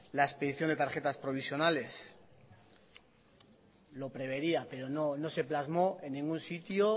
la expedición de tarjetas provisionales lo prevería pero no se plasmó en ningún sitio